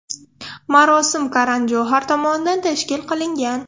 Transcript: Marosim Karan Johar tomonidan tashkil qilingan.